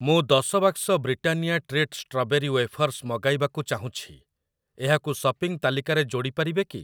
ମୁଁ ଦଶ ବାକ୍ସ ବ୍ରିଟାନିଆ ଟ୍ରିଟ ଷ୍ଟ୍ରବେରୀ ୱେଫର୍‌ସ୍ ମଗାଇବାକୁ ଚାହୁଁଛି, ଏହାକୁ ସପିଂ ତାଲିକାରେ ଯୋଡ଼ି ପାରିବେ କି?